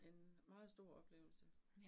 En meget stor oplevelse